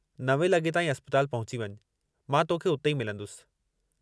नवें लॻे ताईं अस्पताल पहुची वञु मां तोखे उते ई मिलंदुसि।